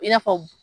I n'a fɔ